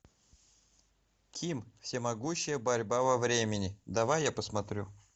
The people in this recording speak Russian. ким всемогущая борьба во времени давай я посмотрю